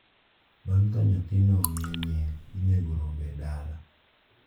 bang’ ka nyathino omiye nying’, inego rombe e dala.